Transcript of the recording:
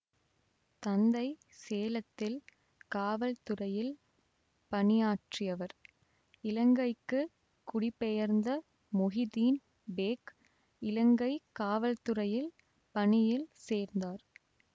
தந்தை சேலத்தில் காவல்துறையில் பணியாற்றியவர் இலங்கைக்கு குடிபெயர்ந்த மொஹிதீன் பேக் இலங்கை காவல்துறையில் பணியில் சேர்ந்தார்